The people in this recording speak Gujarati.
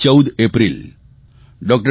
14 એપ્રિલ ડૉ